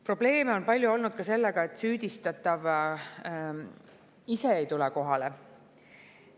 Probleeme on palju olnud ka sellega, et süüdistatav ei tule kohale.